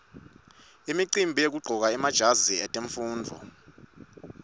imicimbi yekuqcoka emajazi etemfundvo